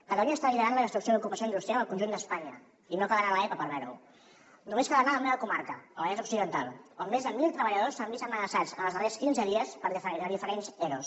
catalunya està liderant la destrucció d’ocupació industrial al conjunt d’espanya i no cal anar a l’epa per veure ho només cal anar a la meva comarca al vallès occidental on més de mil treballadors s’han vist amenaçats en els darrers quinze dies per diferents eros